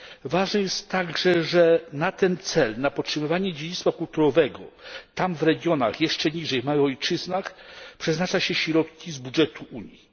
Ważne jest także, że na ten cel, na podtrzymywanie dziedzictwa kulturowego tam, w regionach, jeszcze niżej, w małych ojczyznach, przeznacza się środki z budżetu Unii.